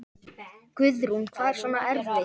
Guðrún: Hvað er svona erfitt?